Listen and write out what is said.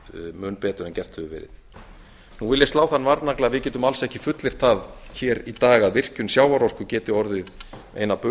mun betur en gert hefur verið nú vil ég slá þann varnagla að við getum alls ekki fullyrt það hér í dag a virkjun sjávarorku geti orðið ein